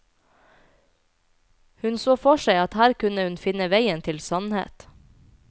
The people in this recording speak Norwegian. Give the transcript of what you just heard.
Hun så for seg at her kunne hun finne veien til sannhet.